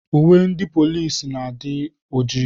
Uwe ndị polisi na-adị ojii.